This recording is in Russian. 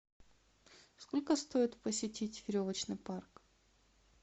сколько стоит посетить веревочный парк